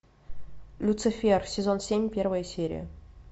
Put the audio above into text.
люцифер сезон семь первая серия